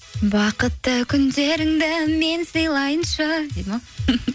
бақытты күндеріңді мен сыйлайыншы дейді ме